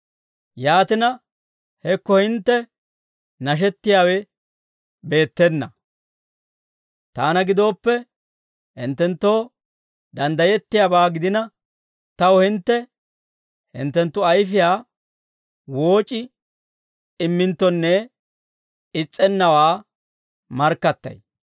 Yaatina, hekko hintte nashettiyaawe beettena! Taana gidooppe, hinttenttoo danddayettiyaabaa gidina, taw hintte hinttenttu ayfiyaa wooc'i imminttonne is's'ennawaa markkattay.